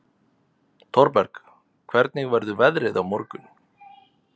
Thorberg, hvernig verður veðrið á morgun?